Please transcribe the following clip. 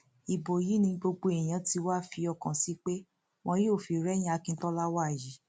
ibo yìí ni gbogbo èèyàn tí wàá fi ọkàn sí pé wọn yóò fi rẹyìn àkíntola wàyí